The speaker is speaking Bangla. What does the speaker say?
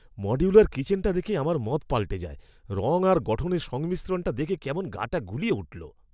মডিউলার কিচেনটা দেখে আমার মত পাল্টে যায়। রঙ আর গঠনের সংমিশ্রণটা দেখে কেমন গাটা গুলিয়ে উঠল।